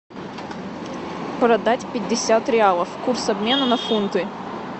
продать пятьдесят реалов курс обмена на фунты